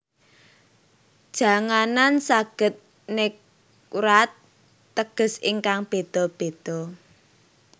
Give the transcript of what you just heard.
Janganan saged negwrat teges ingkang béda béda